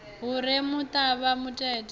hu re na muṱavha mutete